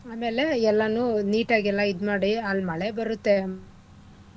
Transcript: ಆಮೇಲೆ ಎಲ್ಲಾನೂ neat ಆಗ್ ಎಲ್ಲಾ ಇದ್ ಮಾಡಿ ಅಲ್ಲಿ ಮಳೆ ಬರತ್ತೆ.